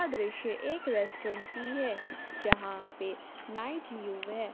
यह दृश्य एक रेस्टोरेंट की है यहां पे नाइट व्यू है।